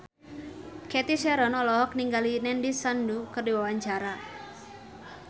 Cathy Sharon olohok ningali Nandish Sandhu keur diwawancara